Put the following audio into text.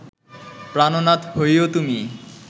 প্রাণনাথ হৈও তুমি